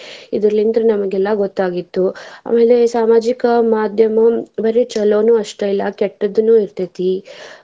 ಇದ್ರಲಿಂದ ನಮ್ಗೆಲ್ಲಾ ಗೊತ್ತಾಗಿತ್ತು ಆಮೇಲೆ ಸಾಮಾಜಿಕ ಮಾದ್ಯಮ ಬರಿ ಚೊಲೋನು ಅಷ್ಟ ಅಲ್ಲಾ ಕೆಟ್ಟದೂನು ಇರ್ತೆತಿ.